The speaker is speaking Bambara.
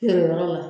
Nin yɔrɔ la